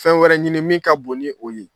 Fɛn wɛrɛ ɲini min ka bon ni o ye